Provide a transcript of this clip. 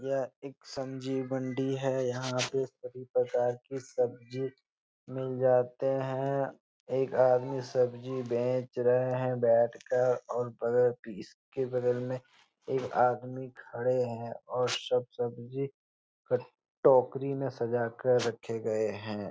यह एक सब्जी मण्डी है यहाँ पे सभी प्रकार की सब्जी मिल जाते हैं एक आदमी सब्जी बेच रहे हैं बैठकर और बगल के इसके बगल में एक आदमी खड़े हैं और सब सब्जी कट टोकरी में सजाकर रखे गए हैं।